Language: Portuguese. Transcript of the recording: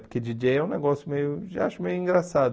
Porque djíi djêi é um negócio meio, já acho meio engraçado.